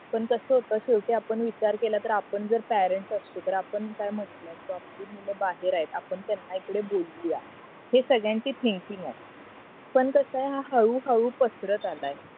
पण कास होत शेवटी आपण विचार केला तर आपण जर पॅरेण्ट असतो तर आपण काय म्हंटलं असत आपली मुलं बाहेर आहेत आपण त्यांना इकडे बोलवूया हे सगळ्यांची थिंकिंग आहे पण कसा हा हळू हळू पसरत आलाय